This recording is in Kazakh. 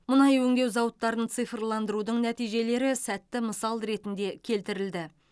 мұнай өңдеу зауыттарын цифрландырудың нәтижелері сәтті мысал ретінде келтірілді